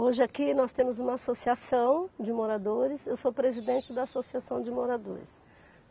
Hoje aqui nós temos uma associação de moradores, eu sou presidente da associação de moradores.